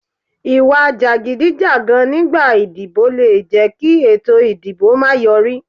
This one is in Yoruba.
Ìwà jàgídíjàgan nígbà ìdìbò le jẹ́ kí ètò ìdìbò máa yọrí.